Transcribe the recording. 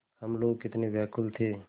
हम लोग कितने व्याकुल थे